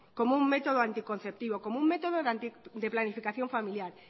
como un método anticonceptivo como un método de planificación familiar